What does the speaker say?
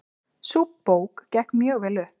Sú bók gekk mjög vel upp.